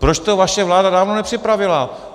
Proč to vaše vláda dávno nepřipravila?